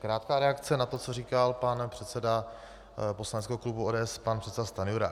Krátká reakce na to, co říkal pan předseda poslaneckého klubu ODS, pan předseda Stanjura.